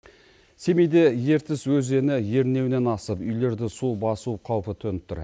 семейде ертіс өзені ернеуінен асып үйлерді су басу қаупі төніп тұр